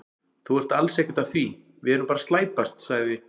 Þú ert alls ekkert að því, við erum bara að slæpast, sagði